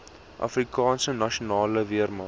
afrikaanse nasionale weermag